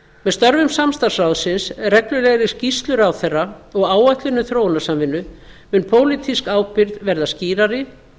með störfum samstarfsráðsins reglulegri skýrslu ráðherra og áætlun um þróunarsamvinnu mun pólitísk ábyrgð verða skýrari